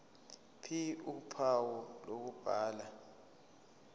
ph uphawu lokubhala